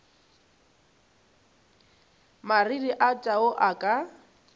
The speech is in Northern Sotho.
mariri a tau a ka